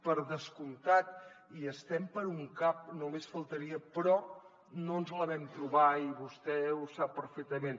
per descomptat hi estem per un cap només faltaria però no ens la vam trobar i vostè ho sap perfectament